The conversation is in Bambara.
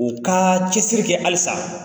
U ka cɛsiri kɛ halisa.